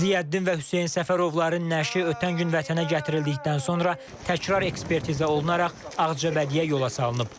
Ziyəddin və Hüseyn Səfərovların nəşi ötən gün vətənə gətirildikdən sonra təkrar ekspertiza olunaraq Ağcabədiyə yola salınıb.